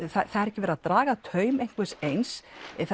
það er ekki verið að draga taum einhvers eins